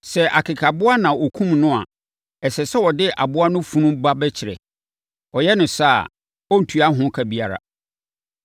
Sɛ akekaboa na ɔkumm no a, ɛsɛ sɛ ɔde aboa no funu ba bɛkyerɛ. Ɔyɛ no saa a, ɔrentua ho ka biara.